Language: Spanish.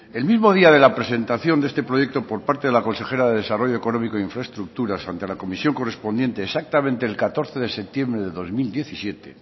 el mismo día de la presentación de este proyecto por parte de la consejera de desarrollo económico e infraestructuras ante la comisión correspondiente exactamente el catorce de septiembre de dos mil diecisiete